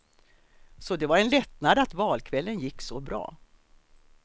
Så det var en lättnad att valkvällen gick så bra.